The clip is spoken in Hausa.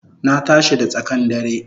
Na tashi da tsakan dare